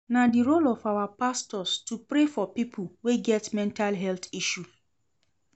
Na di role of our pastors to pray for pipo wey get mental health issue.